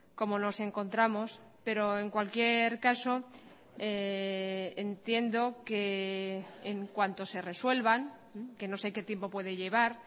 cómo nos encontramos pero en cualquier caso entiendo que en cuanto se resuelvan que no sé qué tiempo puede llevar